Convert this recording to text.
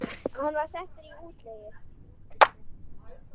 Hann var settur í útlegð.